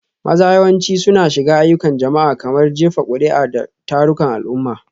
Maza yawanci suna shiga ayyukan jama'a, kamar jefa kuri'a da tarukan al'umma.